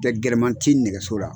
Tɛ gɛlɛma ti nɛgɛso la.